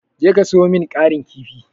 Je ka sayo min ƙarin kifi.